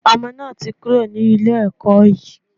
Ọmọ náà ti kúrò ní ilé ẹkọ́ yìí.